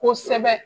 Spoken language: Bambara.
Kosɛbɛ